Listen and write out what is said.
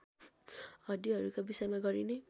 हड्डीहरूका विषयमा गरिने